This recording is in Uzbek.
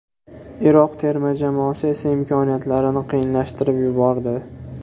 Iroq terma jamoasi esa imkoniyatlarini qiyinlashtirib yubordi.